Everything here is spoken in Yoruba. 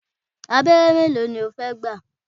Abẹ́rẹ́ mélòó ni o fẹ́ gbà?